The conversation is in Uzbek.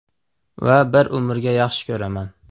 Va bir umrga yaxshi ko‘raman”.